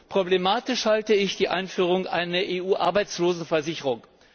Für problematisch halte ich die Einführung einer EU Arbeitslosenversicherung.